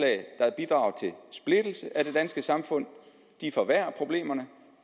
splittelse af det danske samfund forværrer problemerne